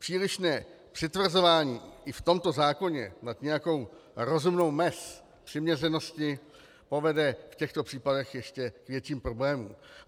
Přílišné přitvrzování i v tomto zákoně nad nějakou rozumnou mez přiměřenosti povede v těchto případech k ještě větším problémům.